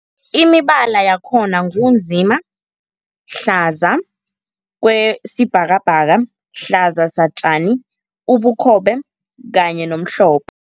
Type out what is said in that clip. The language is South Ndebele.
Imibala yakhona ngu nzima, hlaza okwesibhakabhaka, hlaza satjani, ubukhobe kanye nomhlophe.